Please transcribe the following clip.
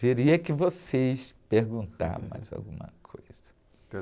Teria que vocês perguntarem mais alguma coisa.